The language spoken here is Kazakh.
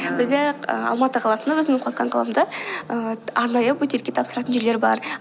бізде алматы қаласында өзімнің қаламда ііі арнайы бөтелке тапсыратын жерлер бар